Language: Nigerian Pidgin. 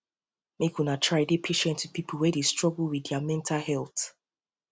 make una try dey patient wit pipo wey dey struggle wit their wit their mental health